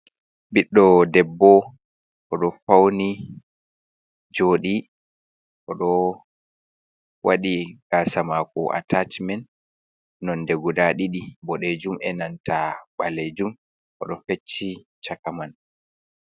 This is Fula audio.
Ɓiɗdo debbo o ɗo fauni joɗi, o do waɗi gasamako atachimen nonde guda ɗidi boɗejum e nanta ɓalejum o do fecci chaka man.